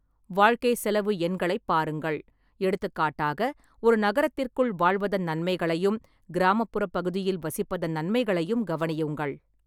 வாழ்க்கைச் செலவு எண்களைப் பாருங்கள், எடுத்துக்காட்டாக, ஒரு நகரத்திற்குள் வாழ்வதன் நன்மைகளையும், கிராமப்புறப் பகுதியில் வசிப்பதன் நன்மைகளையும் கவனியுங்கள்.